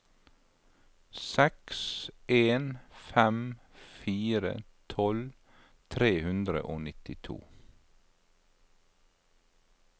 seks en fem fire tolv tre hundre og nittito